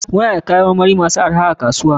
Muna da kayan marmari masu arha a kasuwa.